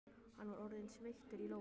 Hann var orðinn sveittur í lófunum.